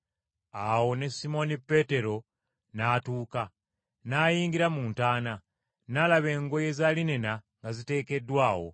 Awo ne Simooni Peetero n’atuuka, n’ayingira mu ntaana, n’alaba engoye za linena nga ziteekeddwa awo.